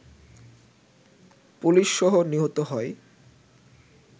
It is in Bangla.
পুলিশসহ নিহত হয়